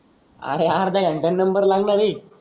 अरे अर्ध्या घंट्याने नंबर लागणार आहे.